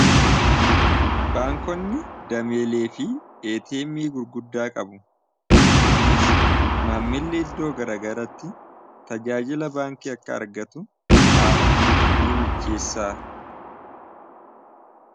baankonni dameelee fi eeteemii gurguddaa qabu kunis maammilli iddoo garagaratti tajaajila baankii akka argatu haala ni mijjeessaa